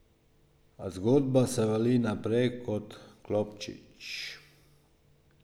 A zgodba se vali naprej kot klobčič.